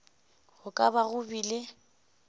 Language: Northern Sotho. go ka ba go bile